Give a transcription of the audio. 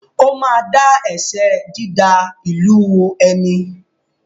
Ó ma dá ẹ̀ṣẹ “dída ìlú ẹni ”.